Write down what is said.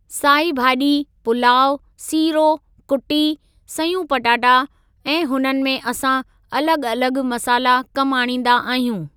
साई भाॼी, पुलाउ, सिरो, कुटी, सयूं पटाटा ऐं हुननि में असां अलॻि अलॻि मसाला कमु आणींदा आहियूं।